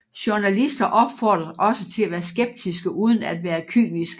Journalister opfordres også til at være skeptiske uden at være kyniske